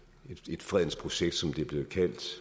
et fredens projekt som det er blevet kaldt